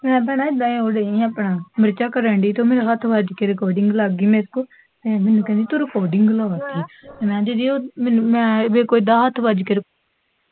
ਮੈਂ ਭੈਣੇ, ਗਏ ਓਹਦੇ ਆਪਣਾ, ਮਿਰਚਾਂ ਕਰਣ ਡੇਈ ਤੇ ਮੇਰੇ ਤੋਂ ਹੱਥ ਵੱਜ ਕੇ ਰਿਕਾਰਡਿੰਗ ਲੱਗ ਗਈ ਮੇਰੇ ਤੋਂ, ਮੈਨੂੰ ਕਹਿੰਦੀ ਤੂੰ ਰਿਕਾਰਡਿੰਗ ਲਾ ਦਿਤੀ, ਮੈਂ ਦੀਦੀ ਉਹ ਮੈਂ ਮੈਥੋਂ ਇੱਦਾਂ ਹੱਥ ਵੱਜਕੇ